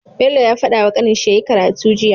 Bello ya fadawa kanin shi yyi karatu jiya